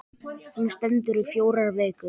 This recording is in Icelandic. Hún stendur í fjórar vikur.